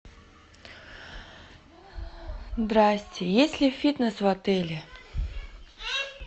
здрасьте есть ли фитнес в отеле